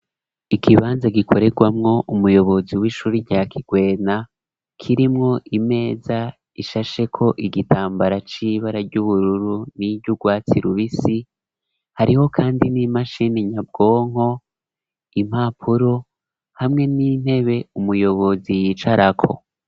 Ikibanza gikoregwamwo umuyobozi w'ishure rya kigwena kirimwo imeza ishasheko igitambara c'ibara ry'ubururu n'iry ugwatsi rubisi hariho kandi n'imashini nyabwonko impapuro hamwe n'intebe umuyobozi yicarako.